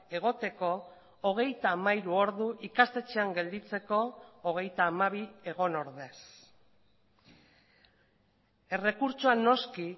egoteko hogeita hamairu ordu ikastetxean gelditzeko hogeita hamabi egon ordez errekurtsoa noski